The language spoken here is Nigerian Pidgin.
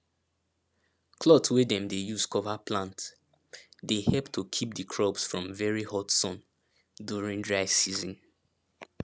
cloth wey dem dey use cover plant dey help to keep the crops from very hot sun during dry season